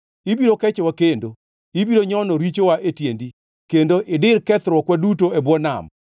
Ibiro kechowa kendo, ibiro nyono richowa e tiendi, kendo idir kethruokwa duto e bwo nam.